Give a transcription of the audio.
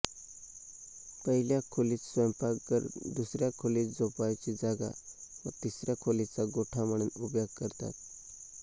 पहिल्या खोलीत स्वयंपाकघर दुसऱ्या खोलीत झोपावयाची जागा व तिसऱ्या खोलीचा गोठा म्हणून उपयोग करतात